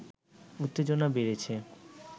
উত্তেজনা বেড়েছে